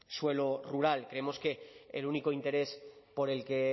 suelo rural creemos que el único interés por el que